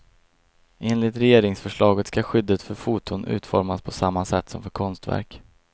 Enligt regeringsförslaget ska skyddet för foton utformas på samma sätt som för konstverk.